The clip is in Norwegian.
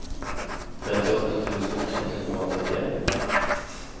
trettiåtte tusen ett hundre og nitten